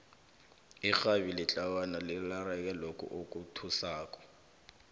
irhabi letlawana lirarene lokhu okuthusako